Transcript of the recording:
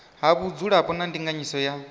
ha vhudzulapo na ndinganyiso ya